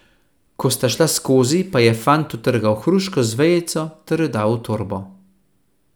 Ko sta šla skozi, pa je fant utrgal hruško z vejico ter jo dal v torbo.